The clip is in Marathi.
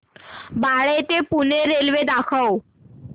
बाळे ते पुणे रेल्वे दाखव